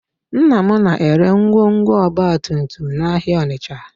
Nna m na-ere ngwongwo ọgbatumtum n'ahịa Ọnịcha